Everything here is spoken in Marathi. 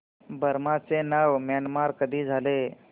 बर्मा चे नाव म्यानमार कधी झाले